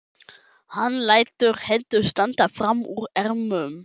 Hann lætur hendur standa fram úr ermum.